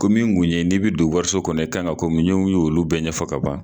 Ko min kun ye n'i bɛ don wariso kɔnɔ, i kan ka komi, n ɲe ɲ'olu olu bɛɛ ɲɛfɔ k'a ban.